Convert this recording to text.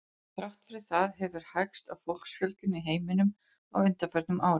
Þrátt fyrir það hefur hægst á fólksfjölgun í heiminum á undanförnum árum.